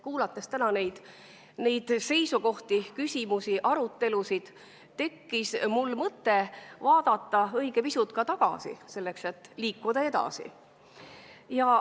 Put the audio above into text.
Kuulates täna neid seisukohti, küsimusi ja kogu arutelu, tekkis mul mõte selleks, et liikuda edasi, õige pisut tagasi vaadata.